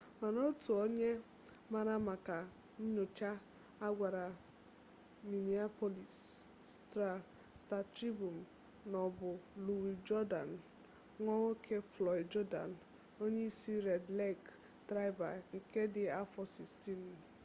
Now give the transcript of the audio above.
mana otu onye maara maka nnyocha a gwara miniapolis sta-tribun na ọ bụ luwi jurdan nwa nwoke flọịd jurdan onye isi red lek traịbal nke dị afọ 16